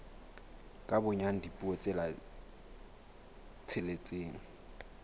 ka bonyane dipuo tse tsheletseng